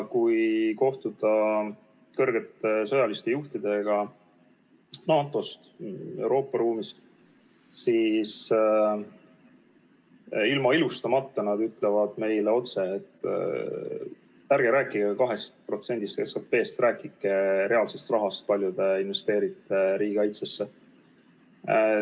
Kui kohtuda kõrgete sõjaliste juhtidega NATO-st ja Euroopast, siis nad ütlevad meile ilma ilustamata otse: ärge rääkige 2%-st SKP-st, rääkige reaalsest rahast, kui palju te investeerite riigikaitsesse.